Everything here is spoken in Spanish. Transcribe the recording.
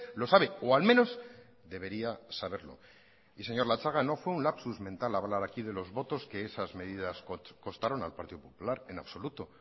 lo sabe o al menos debería saberlo y señor latxaga no fue un lapsus mental hablar aquí de los votos que esas medidas costaron al partido popular en absoluto